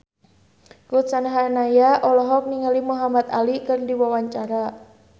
Ruth Sahanaya olohok ningali Muhamad Ali keur diwawancara